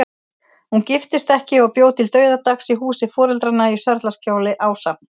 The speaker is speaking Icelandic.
Hún giftist ekki og bjó til dauðadags í húsi foreldranna í Sörlaskjóli, ásamt